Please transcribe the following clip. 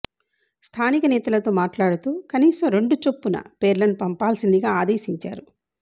స్ధానిక నేతలతో మాట్లాడుతూ కనీసం రెండు చొప్పున పేర్లను పంపాల్సిందిగా అదేశించారు